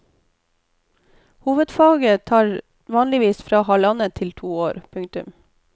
Hovedfaget tar vanligvis fra halvannet til to år. punktum